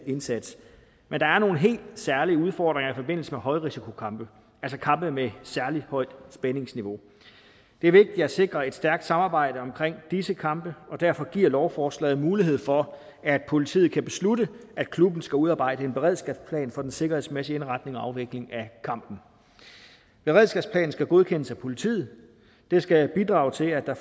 indsats men der er nogle helt særlige udfordringer i forbindelse med højrisikokampe altså kampe med et særlig højt spændingsniveau det er vigtigt at sikre et stærkt samarbejde omkring disse kampe og derfor giver lovforslaget mulighed for at politiet kan beslutte at klubben skal udarbejde en beredskabsplan for den sikkerhedsmæssige indretning og afvikling af kampen beredskabsplanen skal godkendes af politiet den skal bidrage til at der